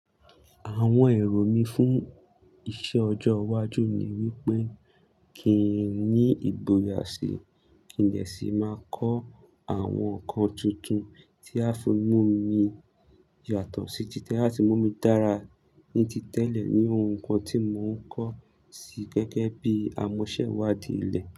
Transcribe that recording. Àwọn èrò mí fún iṣẹ ọjọ́ iwájú ni wípé kí n ní ìgboyà sí kí n dè sì máa kọ́ àwọn nǹkan tuntun tí á fi mú mi yàtọ̀ sí títẹ́ àti mú mi dára ní ti tẹ́lẹ̀ ní ohun kan tí mò ń kọ̀ sí gẹ́gẹ́ bí àmọ̀sẹ̀ iwádìí ilẹ̀